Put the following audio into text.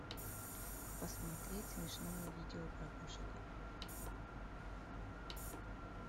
посмотреть смешное видео про кошек